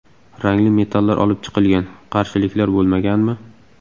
Rangli metallar olib chiqilgan... - Qarshiliklar bo‘lmaganmi?